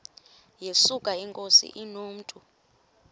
yesuka inkosi inomntu